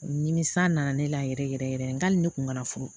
Nimisa nana ne la yɛrɛ yɛrɛ yɛrɛ n hali ne kun kana furu